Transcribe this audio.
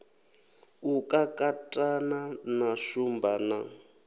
u kakatana na shumba na